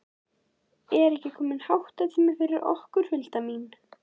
Er ekki kominn háttatími fyrir okkur, Hulda mín?